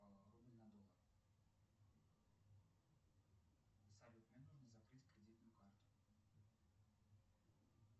салют мне нужно закрыть кредитную карту